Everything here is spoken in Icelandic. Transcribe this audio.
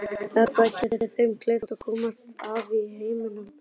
Þetta geri þeim kleift að komast af í heiminum.